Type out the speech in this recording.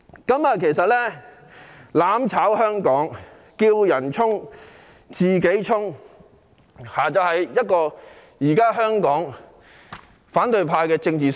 他們要"攬炒"香港，"叫人衝，自己鬆"，正是現時反對派的政治生態。